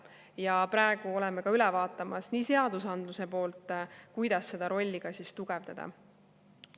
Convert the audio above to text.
Ja praegu oleme üle vaatamas seadusandluse poolt, kuidas seda rolli tugevdada.